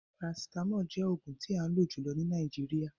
Parasitamolu jẹ oogun ti an lo julọ ni Nàìjíríà